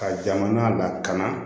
Ka jamana lakana